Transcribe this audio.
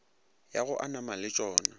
ya go amana le tšona